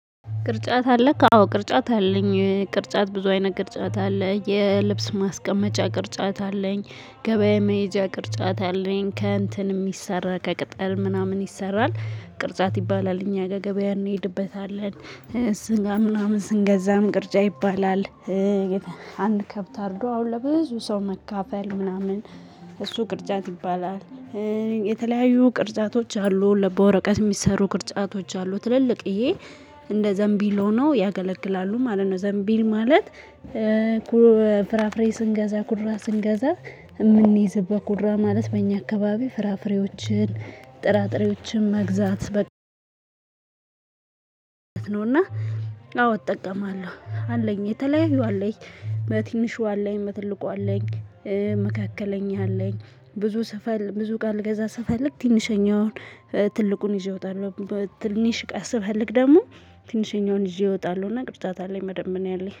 ቅርጫት አለክ? አዎ ቅርጫት አለኝ ቅርጫት ብዙ አይነት ቅርጫት አለኝ የልብስ ማስቀመጫ ቅርጫት አለኝ ገበያ መሄጃ ቅርጫት አለኝ ከእንትን የሚሰራ ከቅጠል ምናምን ይሰራል ቅርጫት ይባላል እኛ ገገበያ እንሄድበታለን። ስጋ ምናምን ስንገዛም ቅርጫ ይባላል። አንድ ከብት አድርጎ አሁን ለብዙ ሰው መካፈል ምናምን። እሱ ቅርጫት ይባላል። የተለያዩ ቅርጻቶች አሉ ለበወረቀት የሚሰሩ ቅርጻቶች አሉ። ትልልቅዬ እንደ ዘንቢል ሆነው ያገለግላሉ ማለት ነው። ዘንቢል ማለት። ፍራፍሬ ስንገዛ ቁራ ስንገዛ የምንይዝበት ቁራ ማለት በእኛ አካባቢ ፍራፍሬዎችን ጥራጥሬዎችን መግዛት በቃ ነውና። አዎ እጠቀማለሁ። አለኝ የተለያዩ አለኝ። ትንሿ አለኝ ትልቁ አለኝ። መካከለኛ አለኝ። ብዙ ስፈል ብዙ ቃል ገዛ ስፈልግ ትንሽኛውን ትልቁን ይዤ እወጣለሁ። ትንሽ ቃል ስፈልግ ደግሞ ትንሽኛውን ይዤ እወጣለሁ። እና ቅድስት አታት አለኝ መደመን ያለኝ